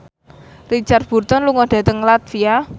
Richard Burton lunga dhateng latvia